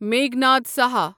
Meghnad Saha